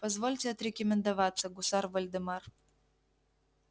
позвольте отрекомендоваться гусар вольдемар